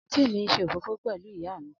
anti mi nse òfófó pẹlu iya mi.